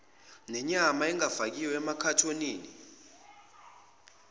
nenyama engafakiwe emakhathonini